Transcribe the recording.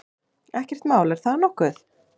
Ekkert mál, er það nokkuð?